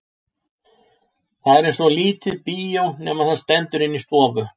Það er eins og lítið bíó nema það stendur inni í stofu.